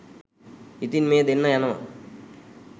ඉතින් මේ දෙන්න යනවා